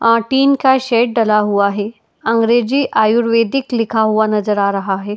अ tin का shed डला हुआ है। अंग्रेजी आयुर्वेदिक लिखा हुआ नजर आ रहा है।